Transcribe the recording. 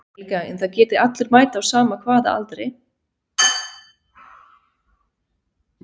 Helga: En það geta allir mætt á sama hvaða aldri?